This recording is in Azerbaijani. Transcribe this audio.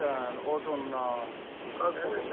Kötükdən, odundan, elə şey.